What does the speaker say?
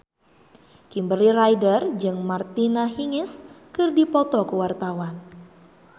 Kimberly Ryder jeung Martina Hingis keur dipoto ku wartawan